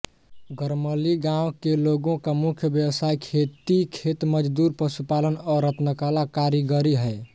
गरमली गाँव के लोगों का मुख्य व्यवसाय खेती खेतमजदूरी पशुपालन और रत्नकला कारीगरी है